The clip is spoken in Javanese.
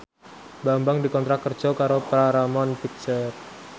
Bambang dikontrak kerja karo Paramount Picture